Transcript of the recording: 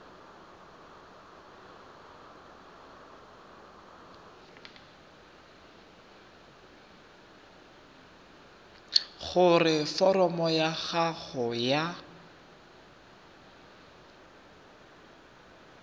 gore foromo ya gago ya